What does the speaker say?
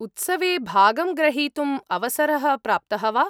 उत्सवे भागं ग्रहीतुम् अवसरः प्राप्तः वा?